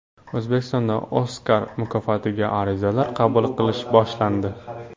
O‘zbekistonda Oskar mukofotiga arizalar qabul qilish boshlandi.